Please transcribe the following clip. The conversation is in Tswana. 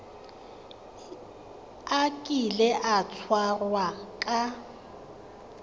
a kile a tshwarwa ka